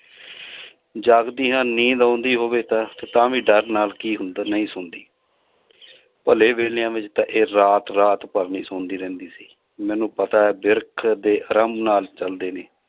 ਜਾਗਦੀਆਂ ਨੀਂਦ ਆਉਂਦੀ ਹੋਵੇ ਤਾਂ ਤੇ ਤਾਂ ਵੀ ਡਰ ਨਾਲ ਕੀ ਹੁੰਦਾ ਨਹੀਂ ਸੌਂਦੀ ਭਲੇ ਵੇਲਿਆਂ ਵਿੱਚ ਤਾਂ ਇਹ ਰਾਤ ਰਾਤ ਭਰ ਨੀ ਸੌਂਦੀ ਰਹਿੰਦੀ ਸੀ, ਮੈਨੂੰ ਪਤਾ ਹੈ ਬਿਰਖ ਦੇ ਆਰਾਮ ਨਾਲ ਚੱਲਦੇ ਨੇ